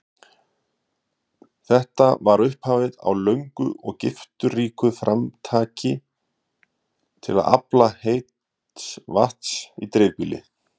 Þetta var upphafið á löngu og gifturíku framtaki til að afla heits vatns í dreifbýli.